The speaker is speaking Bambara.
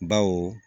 Baw